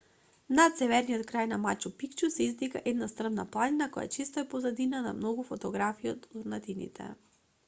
над северниот крај на мачу пикчу се издига една стрмна планина која често е позадина на многу фотографии од урнатините